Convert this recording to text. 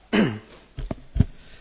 Szanowny Panie Przewodniczący!